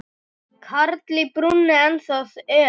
Karl í brúnni ennþá er.